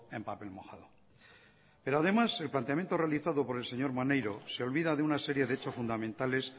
en papel mojado pero además el planteamiento realizo por el señor maneiro se olvida de una serie de hechos fundamentales